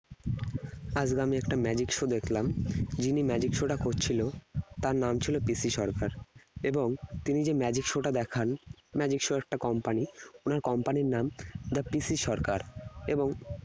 আজকে আমি একটা Magic show দেখলাম যিনি magic show টা করছিল তার নাম ছিল PC সরকার এবং তিনি যে magic show টা দেখান magic show এর একটা company ওনার company র নাম দা PC সরকার এবং